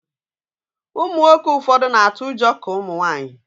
Ụmụnwoke ụfọdụ na-atụ ụjọ ka Ụmụnwaanyị